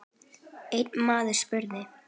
Einn maður spurði